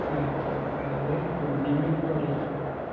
ആ അതായത് ഏർ full name എനിക്കു അറിയില്ല